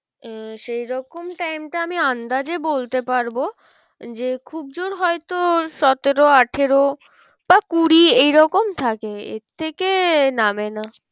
আহ সেই রকম time টা আমি আন্দাজে বলতে পারবো যে খুব জোড় হয় তো সতেরো আঠেরো বা কুড়ি এই রকম থাকে এর থেকে নামে না।